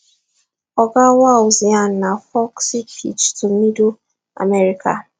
oga walz yarn na folksy pitch to middle america